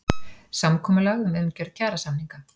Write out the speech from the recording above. Samkomulag um umgjörð kjarasamninga